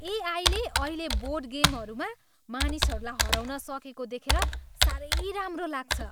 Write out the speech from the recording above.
ए आईले अहिले बोर्ड गेमहरूमा मानिसहरूलाई हराउन सकेको देखेर साह्रै राम्रो लाग्छ।